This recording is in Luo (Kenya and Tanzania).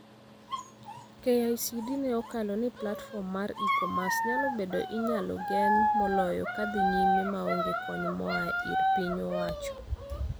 KICD ne okalo ni platform mar e-commerce nyalo bedo inyalo gen moloyo kadhii nyime maonge kony moaa ir piny owacho.